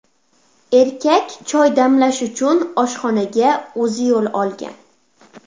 Erkak choy damlash uchun oshxonaga o‘zi yo‘l olgan.